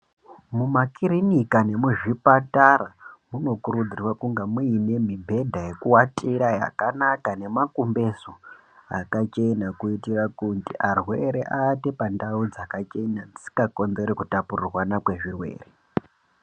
Muma kiriniki nemuzvipatara munokurudzirwa kunge muine mubhedha yekuatira yakanaka nemumakumbeza akachena kuitira kuti arwere aate pandau dzakachena dzisingakonzeri kutapuriranwa kwezvirwere.